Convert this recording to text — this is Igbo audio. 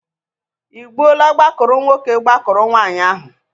Ị gbuole gbakụrụ nwoke gbakụrụ nwaanyị ahụ?